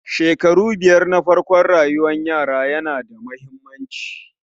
shekaru biyar na farkon rayuwar yara yana da muhimmanci